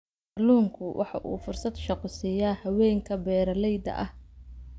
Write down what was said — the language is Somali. Kalluunku waxa uu fursado shaqo siiya haweenka beeralayda ah.